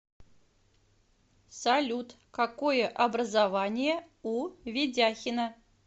салют какое образование у ведяхина